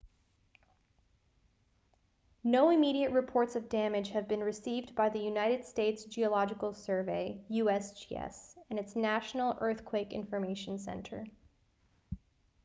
no immediate reports of damage have been received by the united states geological survey usgs and its national earthquake information center